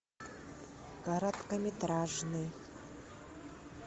короткометражный